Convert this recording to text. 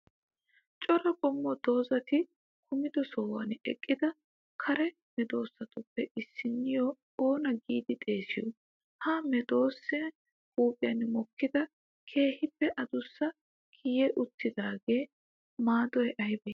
cora qommoo doozati kumido sohuwan eqqida karee meedoosatuppe issiniyo oona giddi xeessiyo? ha meedossee huphiyan mokkida keehipppe addusa kiyi uttidagawu maadoy aybee?